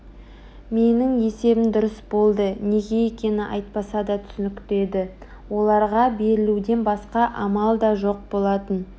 менің есебім дұрыс болды неге екені айтпаса да түсінікті еді оларға берілуден басқа амал да жоқ болатын